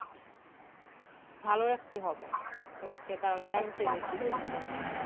ভালো রাখতে হবে কারণ তো সাস্থ্যই হচ্ছে সম্পদ।